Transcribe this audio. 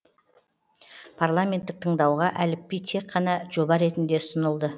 парламенттік тыңдауға әліпби тек қана жоба ретінде ұсынылды